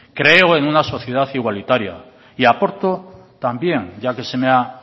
creo en una sociedad igualitaria y aporto también ya que se me ha